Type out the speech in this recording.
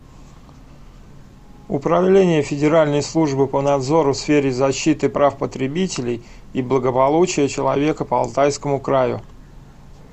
управление федеральной службы по надзору в сфере защиты прав потребителей и благополучия человека по алтайскому краю